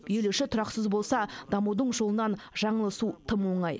ел іші тұрақсыз болса дамудың жолынан жаңылысу тым оңай